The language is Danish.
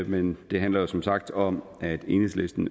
men det handler som sagt om at enhedslisten